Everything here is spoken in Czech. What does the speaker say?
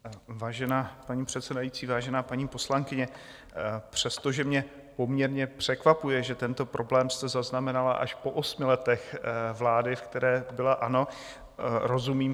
Vážená paní předsedající, vážená paní poslankyně, přestože mě poměrně překvapuje, že tento problém jste zaznamenala až po osmi letech vlády, v které byla ANO, rozumím.